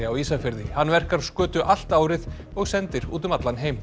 á Ísafirði hann verkar skötu allt árið og sendir út um allan heim